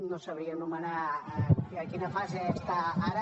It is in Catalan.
no sabria anomenar a quina fase està ara